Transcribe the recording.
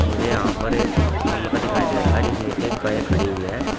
मुझे यहां पर एक कमरा दिखाई दे रहा है जिसमे कि एक गाय खड़ी हुई है।